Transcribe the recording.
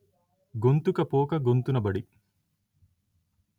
గొంతుకపోక గొంతునబడి